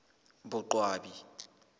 boqwabi